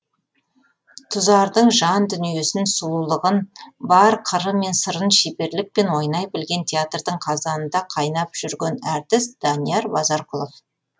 тұзардың жан дүниесін сұлулығын бар қыры мен сырын шеберлікпен ойнай білген театрдың қазанында қайнап жүрген әртіс данияр базарқұлов